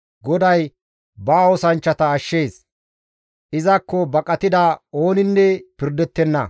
GODAY ba oosanchchata ashshees; izakko baqatida ooninne pirdettenna.